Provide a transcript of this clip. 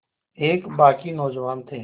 एक बाग़ी नौजवान थे